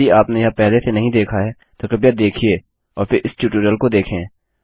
यदि आपने यह पहले से नहीं देखा है तो कृपया देखिए और फिर इस ट्यूटोरियल को देखें